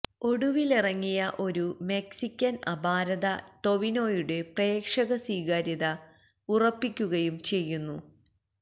ഒടുവിലിറങ്ങിയ ഒരു മെക്സിക്കന് അപാരത ടൊവിനോയുടെ പ്രേക്ഷക സ്വീകാര്യത ഉറപ്പിക്കുകയും ചെയ്യുന്നു